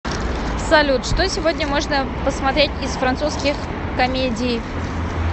салют что сегодня можно посмотреть из французских комедии